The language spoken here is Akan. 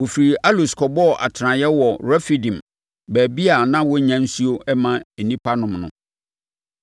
Wɔfirii Alus kɔbɔɔ atenaeɛ wɔ Refidim, baabi a na wɔnnya nsuo mma nnipa no nnom.